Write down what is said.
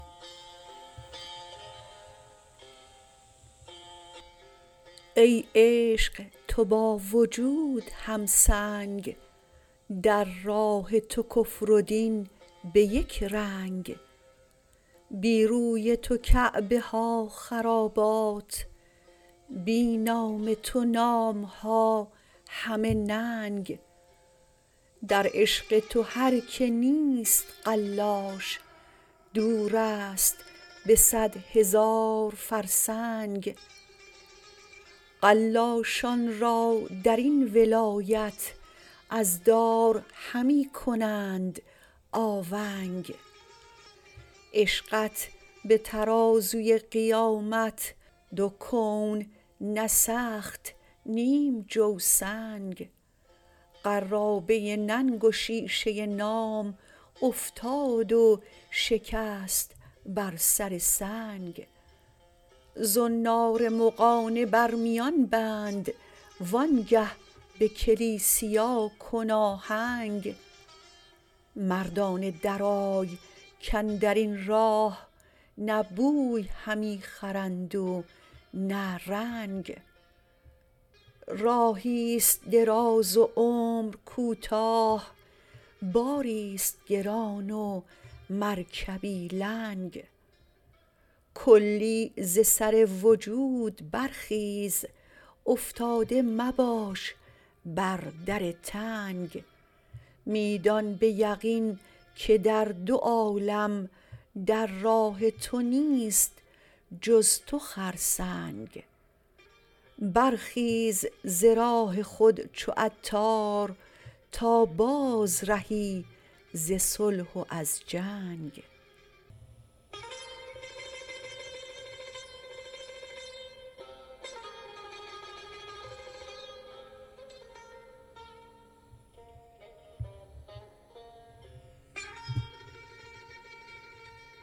ای عشق تو با وجود هم تنگ در راه تو کفر و دین به یک رنگ بی روی تو کعبه ها خرابات بی نام تو نامها همه ننگ در عشق تو هر که نیست قلاش دور است به صد هزار فرسنگ قلاشان را درین ولایت از دار همی کنند آونگ عشقت به ترازوی قیامت دو کون نسفت نیم جو سنگ قرابه ننگ و شیشه نام افتاد و شکست بر سر سنگ زنار مغانه بر میان بند وانگه به کلیسیا کن آهنگ مردانه درآی کاندرین راه نه بوی همی خرند و نه رنگ راهی است دراز و عمر کوتاه باری است گران و مرکبی لنگ کلی ز سر وجود برخیز افتاده مباش بر در تنگ می دان به یقین که در دو عالم در راه تو نیست جز تو خرسنگ برخیز ز راه خود چو عطار تا بازرهی ز صلح و از جنگ